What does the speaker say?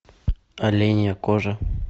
оленья кожа